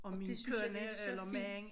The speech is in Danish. Og det synes jeg det så fint